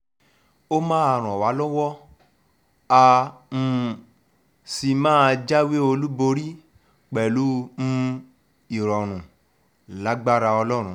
ó máa ràn wá lọ́wọ́ á um sì máa jáwé olúborí pẹ̀lú um ìrọ̀rùn lágbára ọlọ́run